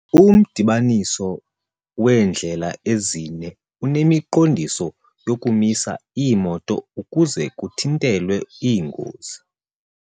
Umdibaniso weendlela ezine unemiqondiso yokumisa iimoto ukuze kuthintelwe iingozi.